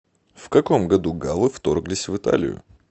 в каком году галлы вторглись в италию